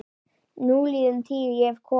Núliðin tíð- ég hef komið